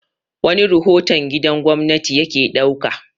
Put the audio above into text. wani rahoton gidan gwamnati ya ke ɗauka